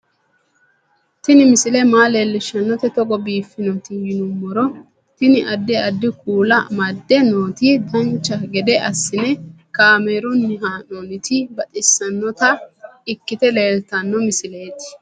Tini misile maa leellishshannote togo biiffinoti yinummoro tini. addi addi kuula amadde nooti dancha gede assine kaamerunni haa'noonniti baxissannota ikkite leeltanno misileeti